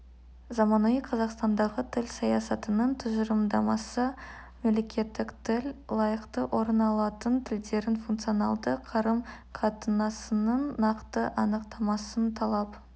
заманауи қазақстандағы тіл саясатының тұжырымдамасы мемлекеттік тіл лайықты орын алатын тілдердің функционалды қарым-қатынасының нақты анықтамасын талап